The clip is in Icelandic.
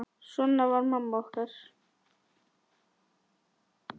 Svona var mamma okkar.